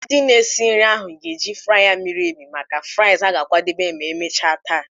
Ndị na-esi nri ahụ ga-eji fryer miri emi maka fries ha ga-akwadebe ma emechaa taa.